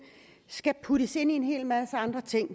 skal puttes ind sammen med en hel masse andre ting